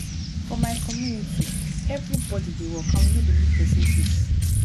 for my community everybody dey work and we no dey look person face